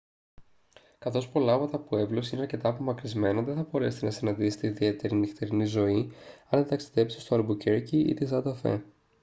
καθώς πολλά από τα πουέμπλος είναι αρκετά απομακρυσμένα δεν θα μπορέσετε να συναντήσετε ιδιαίτερη νυχτερινή ζωή αν δεν ταξιδέψετε στο αλμπουκέρκι ή την σάντα φε